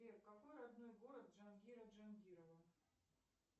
сбер какой родной город джангира джангирова